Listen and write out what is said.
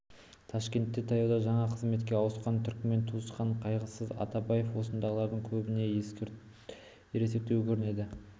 ташкентке таяуда жаңа қызметке ауысқан түрікмен туысқан қайғысыз атабаев осындағылардың көбінен ересектеу көрінеді